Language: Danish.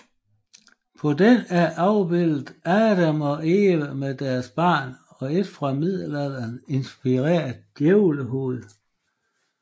På den er afbilledet Adam og Eva med deres barn og et fra middelalderen inspireret djævlehoved